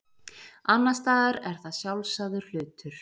Annars staðar er það sjálfsagður hlutur.